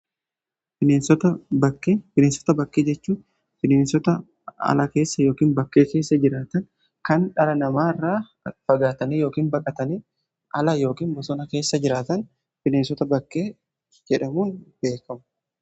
Bineensota bakkee: Bineensota bakkee jechuun bineensota ala keessa yookiin bakkee keessa jiraatan kan dhala namaa irra fagaatanii yookiin baqatanii ala yookiin bosona keessa jiraatan bineensota bakkee jedhamuun beekamu.